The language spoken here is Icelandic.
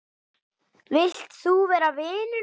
Vilt þú vera vinur minn?